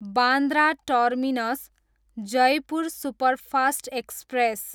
Bandra terminus, Jaipur superfast express